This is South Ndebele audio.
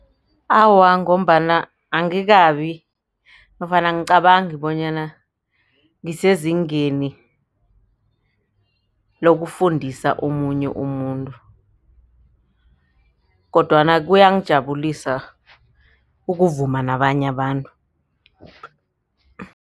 Awa, ngombana angikabi nofana angicabangi bonyana ngisezingeni lokufundisa omunye umuntu kodwana kuyangijabulisa ukuvuma nabanye abantu.